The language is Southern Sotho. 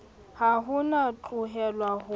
ha o no tlohelwa ho